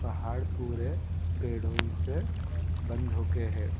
पहाड़ दूर है पेड़ों से बंद हो के हैं।